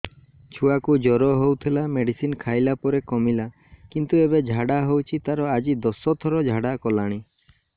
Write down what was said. ଛୁଆ କୁ ଜର ହଉଥିଲା ମେଡିସିନ ଖାଇଲା ପରେ କମିଲା କିନ୍ତୁ ଏବେ ଝାଡା ହଉଚି ତାର ଆଜି ଦଶ ଥର ଝାଡା କଲାଣି